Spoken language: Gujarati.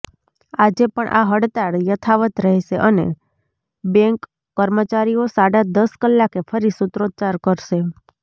આજે પણ આ હડતાળ યથાવત રહેશે અને બેન્ક કર્મચારીઓ સાડા દશ કલાકે ફરી સુત્રોચ્ચાર કરશે